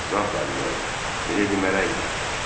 Zat aliləri, miledi mələkdir.